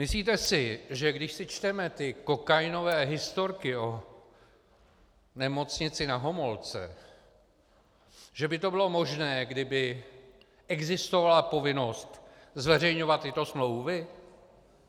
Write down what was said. Myslíte si, že když si čteme ty kokainové historky o Nemocnici na Homolce, že by to bylo možné, kdyby existovala povinnost zveřejňovat tyto smlouvy?